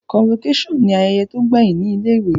Convocation ni ayẹyẹ to gbẹhin ni ilé ìwé